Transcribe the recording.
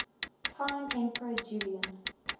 time emperor julian